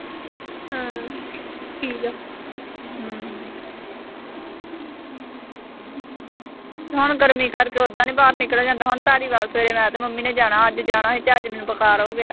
ਹੁਣ ਗਰਮੀ ਕਰਕੇ ਓਦਾਂ ਨੀਂ ਬਾਹਰ ਨਿਕਲਿਆ ਜਾਂਦਾ। ਹੁਣ ਧਾਰੀਵਾਲ ਸਵੇਰੇ ਮੈਂ ਤੇ ਮੰਮੀ ਨੇ ਜਾਣਾ। ਅੱਜ ਜਾਣਾ ਸੀ ਤੇ ਅੱਜ ਮੈਨੂੰ ਬੁਖਾਰ ਹੋ ਗਿਆ।